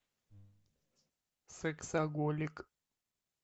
сексоголик